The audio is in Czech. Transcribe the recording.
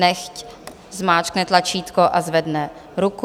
Nechť zmáčkne tlačítko a zvedne ruku.